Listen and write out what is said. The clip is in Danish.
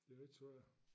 Det lidt svært